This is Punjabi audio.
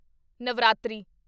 ਨਵਰਾਤਰੀ